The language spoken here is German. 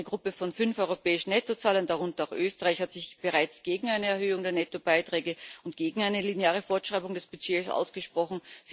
Eine Gruppe von fünf europäischen Nettozahlern, darunter auch Österreich, hat sich bereits gegen eine Erhöhung der Nettobeiträge und gegen eine lineare Fortschreibung des Budgets ausgesprochen.